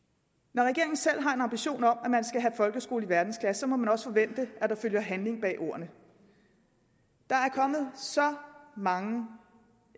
når regeringen selv har en ambition om at man skal have folkeskole i verdensklasse må man også forvente at der følger handling bag ordene der er kommet så mange